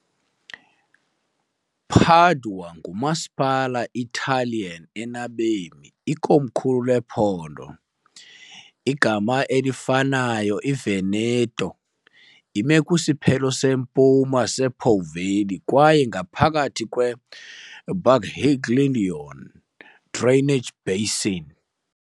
Padua ngumasipala Italian enabemi , ikomkhulu lephondo igama elifanayo Veneto .Ime kwisiphelo sempuma sePo Valley kwaye ngaphakathi kweBacchiglione drainage basin.